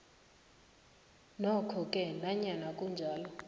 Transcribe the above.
nokhoke nanyana kunjalo